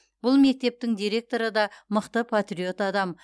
бұл мектептің директоры да мықты патриот адам